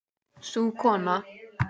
Sú kona